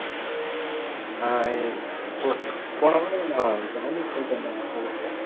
ஆஹ் அஹ் போ~ போன வாரம் நான் ஜான்விக் போயிட்டு வந்தேன் உன்கிட்ட சொன்னேன்ல